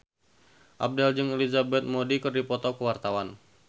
Abdel jeung Elizabeth Moody keur dipoto ku wartawan